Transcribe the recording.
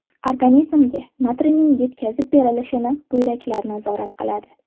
Organizmga natriyning yetkazib berilishini buyraklar nazorat qiladi.